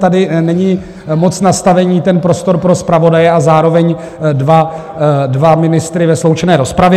Tady není moc nastavení, ten prostor pro zpravodaje a zároveň dva ministry ve sloučené rozpravě.